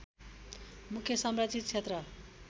मुख्य संरक्षीत क्षेत्र